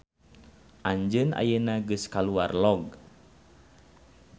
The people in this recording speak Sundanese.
Anjeun ayeuna geus kaluar log.